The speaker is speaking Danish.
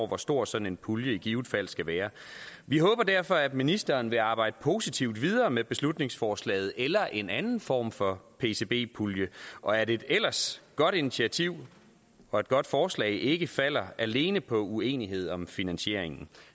hvor stor sådan en pulje i givet fald skal være vi håber derfor at ministeren vil arbejde positivt videre med beslutningsforslaget eller en anden form for pcb pulje og at et ellers godt initiativ og godt forslag ikke falder alene på uenighed om finansieringen